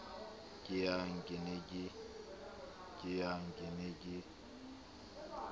ke yang ke ne ke